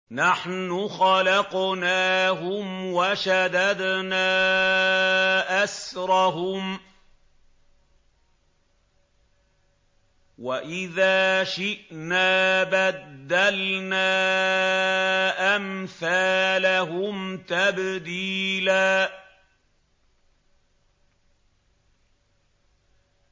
نَّحْنُ خَلَقْنَاهُمْ وَشَدَدْنَا أَسْرَهُمْ ۖ وَإِذَا شِئْنَا بَدَّلْنَا أَمْثَالَهُمْ تَبْدِيلًا